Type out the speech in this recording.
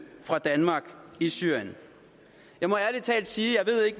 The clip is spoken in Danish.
fra danmark i syrien jeg må ærlig talt sige at